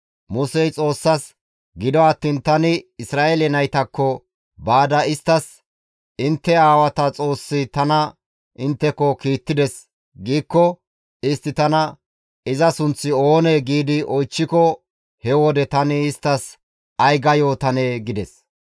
Musey Xoossaas, «Gido attiin tani Isra7eele naytakko baada isttas, ‹Intte aawata Xoossi tana intteko kiittides› giikko, istti tana, ‹Iza sunththi oonee?› gi oychchiko he wode tani isttas ay ga yootanee?» gides.